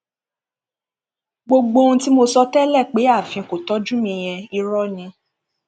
gbogbo ohun tí mo sọ tẹlẹ pé aláàfin kò tọjú mi yẹn irọ ni